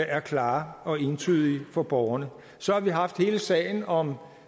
er klare og entydige for borgerne så har vi haft hele sagen om